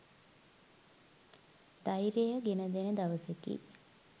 ධෛර්යය ගෙන දෙන දවසකි.